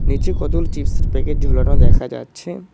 নিচে কতগুলি চিপসের প্যাকেট ঝোলানো দেখা যাচ্ছে।